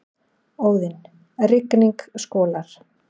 Óðinn: Rigning skolar.